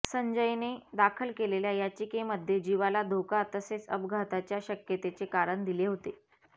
संजयने दाखल केलेल्या याचिकेमध्ये जीवाला धोका तसेच अपघाताच्या शक्यतेचे कारण दिले होते